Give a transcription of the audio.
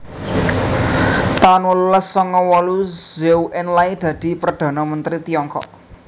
taun wolulas sanga wolu Zhou Enlai dadi Perdhana Mentri Tiongkok